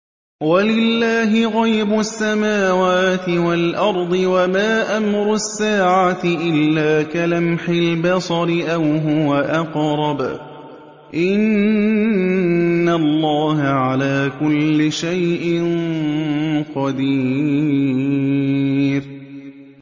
وَلِلَّهِ غَيْبُ السَّمَاوَاتِ وَالْأَرْضِ ۚ وَمَا أَمْرُ السَّاعَةِ إِلَّا كَلَمْحِ الْبَصَرِ أَوْ هُوَ أَقْرَبُ ۚ إِنَّ اللَّهَ عَلَىٰ كُلِّ شَيْءٍ قَدِيرٌ